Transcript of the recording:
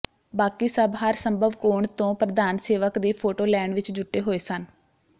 ਬਾਕੀ ਸਭ ਹਰ ਸੰਭਵ ਕੋਣ ਤੋਂ ਪ੍ਰਧਾਨ ਸੇਵਕ ਦੀ ਫੋਟੋ ਲੈਣ ਵਿਚ ਜੁਟੇ ਹੋਏ ਸਨ